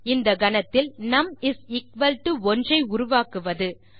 இந்த கணத்தில் நும் 1 ஐ உருவாக்குவது